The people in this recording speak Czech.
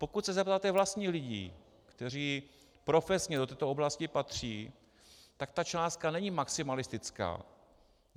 Pokud se zeptáte vlastních lidí, kteří profesně do této oblasti patří, tak ta částka není maximalistická.